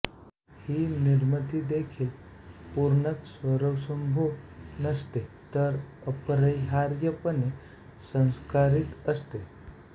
ही निर्मितीदेखील पूर्णतः स्वयंभू नसते तर अपरिहार्यपणे संस्कारित असते